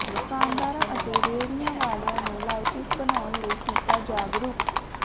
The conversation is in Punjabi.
ਦੁਕਾਨਦਾਰਾਂ ਅਤੇ ਰੇਹੜੀਆਂ ਵਾਲਿਆਂ ਨੂੰ ਲਾਇਸੰਸ ਬਣਾਉਣ ਲਈ ਕੀਤਾ ਜਾਗਰੂਕ